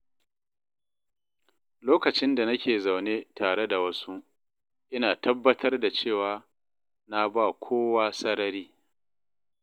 Lokacin da nake zaune tare da wasu, ina tabbatar da cewa na ba kowa sarari.